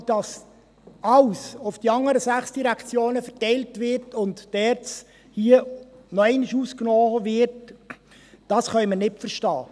Aber: Dass alles auf die anderen sechs Direktionen verteilt und die ERZ noch einmal ausgenommen wird, können wir nicht verstehen.